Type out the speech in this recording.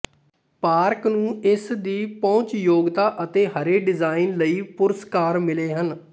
park ਨੂੰ ਇਸ ਦੀ ਪਹੁੰਚਯੋਗਤਾ ਅਤੇ ਹਰੇ ਡਿਜ਼ਾਈਨ ਲਈ ਪੁਰਸਕਾਰ ਮਿਲੇ ਹਨ